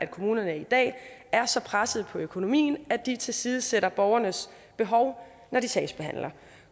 at kommunerne i dag er så pressede på økonomien at de tilsidesætter borgernes behov når de sagsbehandler